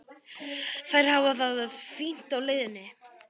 Þær hafa það fínt á leiðinni.